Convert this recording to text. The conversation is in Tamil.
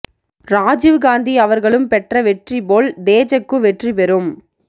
ராஜீவ் காந்தி அவர்களும் பெற்ற வெற்றி போல் தேஜகூ வெற்றி பெறும்